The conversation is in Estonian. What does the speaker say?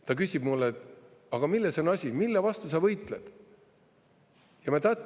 Ta küsib mult: "Aga milles on asi, mille vastu sa võitled?